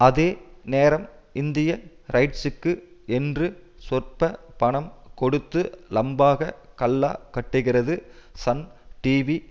அதே நேரம் இந்திய ரைட்ஸ்க்கு என்று சொற்ப பணம் கொடுத்து லம்பாக கல்லா கட்டுகிறது சன் டிவி